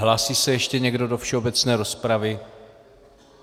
Hlásí se ještě někdo do všeobecné rozpravy?